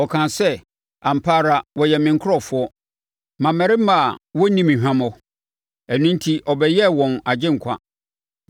Ɔkaa sɛ, “Ampa ara wɔyɛ me nkurɔfoɔ, mmammarima a wɔrenni me hwammɔ”; ɛno enti ɔbɛyɛɛ wɔn Agyenkwa.